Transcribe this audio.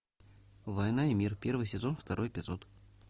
война и мир первый сезон второй эпизод